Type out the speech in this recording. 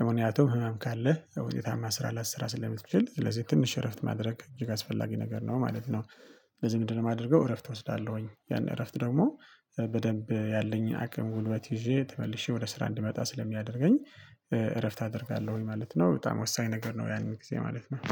ህመም ካለ ዉጤታማ ስራ ላያሰራ ስለምትችል ስለዚህ ትንሽ እረፍት ማድረግ እጅግ አስፈላጊ ነገር ነው ማለት ነው። ስለዚህ ምንድነው የማደርገው? እረፍት ወስዳለሁኝ ያን እረፍት ደግሞ በደንብ ያለኝ አቅም ጉልበት ይዤ ተመልሼ ወደ ስራ እንድመጣ ስለሚያደርገኝ። እረፍት አደርጋለሁኝ ማለት ነው በጣም ወሳኝ ነገር ነው። ያንን ጊዜ ማለት ነው